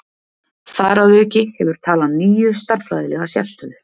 Þar að auki hefur talan níu stærðfræðilega sérstöðu.